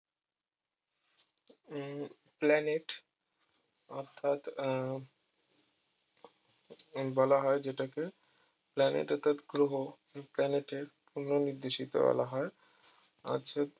হম planet অর্থাৎ আহ বলা হয় যেটাকে planet অর্থাৎ গ্রহ planet এর পুন নির্দেশিকা বলা হয় অর্থাৎ